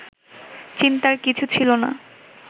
চিন্তার কিছু ছিল না